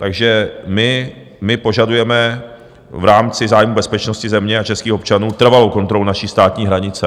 Takže my požadujeme v rámci zájmu bezpečnosti země a českých občanů trvalou kontrolu naší státní hranice.